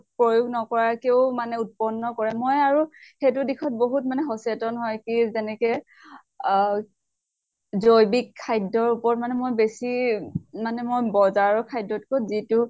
প্ৰয়োগ নকৰাকেও মানে উৎপন্ন কৰে। মই আৰু সেইটো দিশত বহুত মানে সচেতন হয় কি যেনেকে আহ জৈৱিক খাদ্য়ৰ উপৰত মানে মই বেছি মানে মই বজাৰৰ খাদ্য়ত্কৈ যিটো